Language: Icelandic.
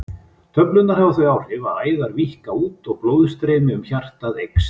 Töflurnar hafa þau áhrif að æðar víkka út og blóðstreymi um hjartað eykst.